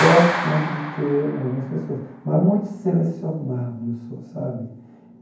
Gosto sempre de ter algumas pessoas, mas muito selecionado eu sou, sabe?